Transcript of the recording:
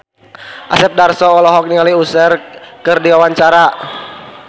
Asep Darso olohok ningali Usher keur diwawancara